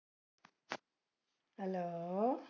Hello